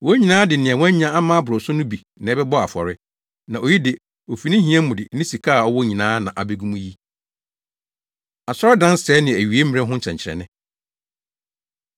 Wɔn nyinaa de nea wɔanya ama aboro so no bi na ɛbɛbɔɔ afɔre, na oyi de, ofi ne hia mu de ne sika a ɔwɔ nyinaa na abegu mu yi.” Asɔredansɛe Ne Awieimmere Ho Nsɛnkyerɛnne